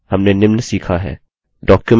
documents देखना